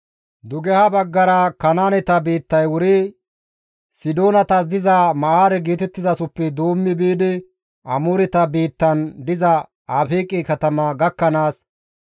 Dugeha baggara Kanaaneta biittay wuri, Sidoonatas diza Ma7aare geetettizasoppe doommi biidi Amooreta biittan diza Afeeqe katama gakkanaas,